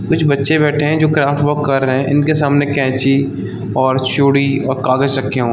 कुछ बच्चे बैठे है जो क्राफ्टवर्क कर रहै है इनके सामने कैची और चूड़ी और कागज़ रखे हुए--